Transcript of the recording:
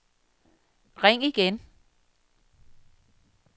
ring igen